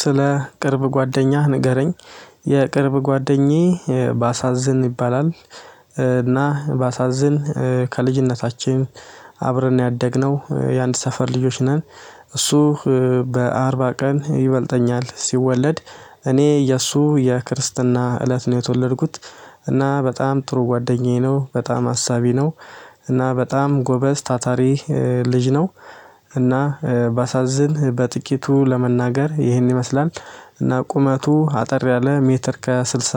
ስለ ቅርብ ጓደኛህ ንገረኝ? የቅርብ ጓደኛዬ ባሳዝን ይባላል። እና ባሳዝን ከልጅነታችን አብረን ነው ያደግነው የአንድ ሰፈር ልጆች ነን። እሱ በአርባ ቀን ይበልጠኛል ሲወለድ እኔ የእሱ የክርስትና እለት ነው የተወለድኩት። እና በጣም ጥሩ ጓደኛዬ ነው በጣም አሳቢ ነው። እና በጣም ጎበዝ ታታሪ ልጅ ነው። እና ባሳዝን በጥቂቱ ለመናገር ይህን ይመስላል። እና ቁመቱ አጠር ያለ ሜትር ከስልሳ